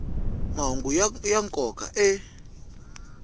mahungu ya nkoka a